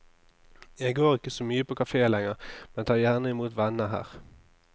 Jeg går ikke så mye på kafé lenger, men tar gjerne imot venner her.